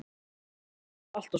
Kannski var það allt og sumt.